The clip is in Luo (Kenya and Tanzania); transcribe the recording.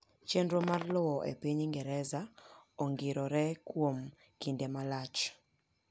Chenro mar lowo epiny Ingereza ongirore kuom kinde malach.